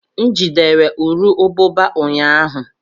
M jidere nru ubụba ụnyahụ.